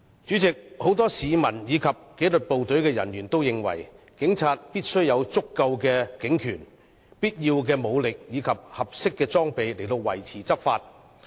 主席，很多市民和紀律部隊的人員也認為，警察必須有足夠的警權、必要的武力和合適的裝備以維持執法。